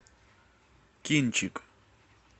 кинчик